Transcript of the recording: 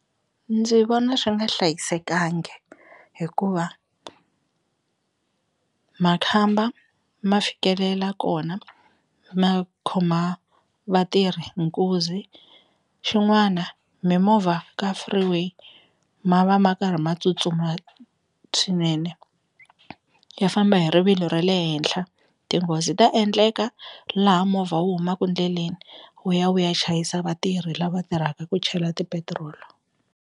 Ndzi vona swi nga hlayisekangi hikuva makhamba ma fikelela kona ma khoma vatirhi nkunzi, xin'wana mimovha ka freeway ma va ma karhi ma tsutsuma swinene ya famba hi rivilo ra le henhla tinghozi ta endleka laha movha wu humaku ndleleni wu ya wu ya chayisa vatirhi lava tirhaka ku chela ti petirolo.